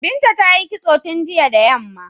Binta ta yi kitso tun jiya da yamma.